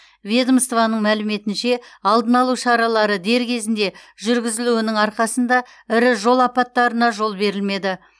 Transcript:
ведомствоның мәліметінше алдына алу шаралары дер кезінде жүргізілуінің арқасында ірі жол апаттарына жол берілмеді